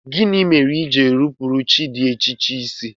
Gịnị mere i ji na-enupụrụ chi dị iche iche isi?